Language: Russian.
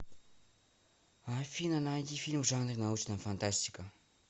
афина найди фильм в жанре научная фантастика